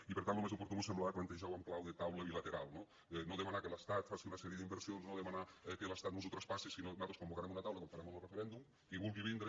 i per tant lo més oportú mos semblava plantejar ho en clau de taula bilateral no no demanar que l’estat faci una sèrie d’inversions no demanar que l’estat mos ho traspassi sinó nosaltres convocarem una taula com farem amb lo referèndum qui vulgui vindre